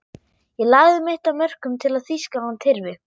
Ég lagði mitt af mörkum til að Þýskaland hyrfi.